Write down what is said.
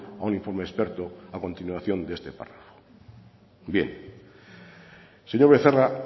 a un informe experto a continuación de este párrafo bien señor becerra